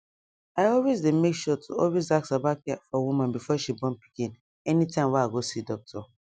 i always dey make sure to always ask about care for woman before she born pikin anytime wey i go see doctor